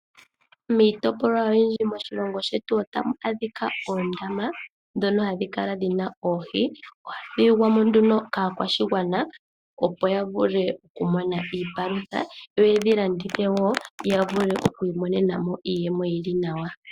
Miitopolwa oyindji moshilongo shetu otamu adhika oondama ndhono hadhi kala dhina oohi . Ohadhi yugwamo nduno kaakwashigwana opo ya vule oku mona iipalutha , yoyedhi landithe wo ya vule oku mona iiyemo iiwanawa.